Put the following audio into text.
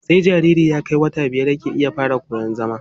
Sai jariri ya kai wata biyar yake fara iya koyan zama.